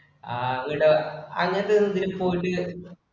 ആ അങ്ങൊട്~ അങ്ങോടു ഇതില് പോയിട്ട്